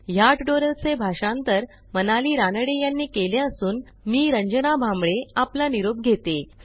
ह्या ट्युटोरियलचे भाषांतर मनाली रानडे यांनी केले असून मी आपला निरोप घेते160